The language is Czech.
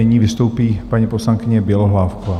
Nyní vystoupí paní poslankyně Bělohlávková.